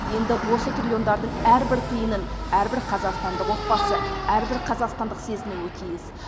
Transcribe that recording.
енді осы триллиондардың әрбір тиынның әрбір қазақстандық отбасы әрбір қазақстандық сезінуі тиіс